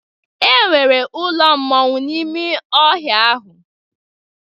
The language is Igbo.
E nwere ụlọ mmọnwụ n'ime ọhịa ahụ.